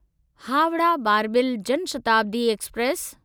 Howrah Barbil Jan Shatabdi express